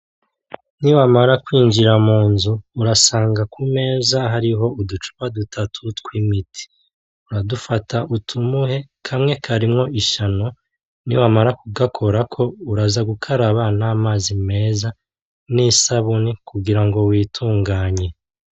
Niwamara kwinjira mu nzu , murasanga ku meza hariho utuntu tw'uducupa dutatu tw'imiti uradufata utumuhe , kamwe karimwo ishano, niwamara kugakorako uraza gukaraba n'amazi meza n'isabuni kugira ngo witunganye.